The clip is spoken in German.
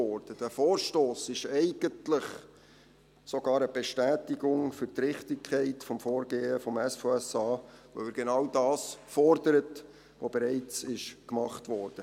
Dieser Vorstoss ist eigentlich sogar eine Bestätigung für die Richtigkeit des Vorgehens des SVSA, weil er genau das fordert, was bereits gemacht wurde.